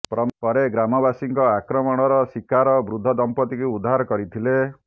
ପରେ ଗ୍ରାମବାସୀଙ୍କ ଆକ୍ରମଣର ଶିକାର ବୃଦ୍ଧ ଦମ୍ପତ୍ତିଙ୍କୁ ଉଦ୍ଧାର କରିଥିଲେ